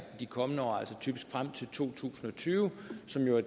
i de kommende år typisk frem til to tusind og tyve som jo er